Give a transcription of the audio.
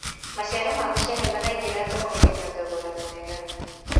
macicaro ma mucere maraingira thoko-inĩ na thogora mwega